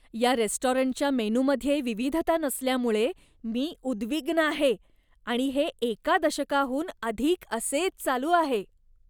या रेस्टॉरंटच्या मेनूमध्ये विविधता नसल्यामुळे मी उद्विग्न आहे आणि हे एका दशकाहून अधिक असेच चालू आहे.